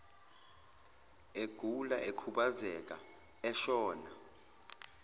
egula ekhubazeka eshona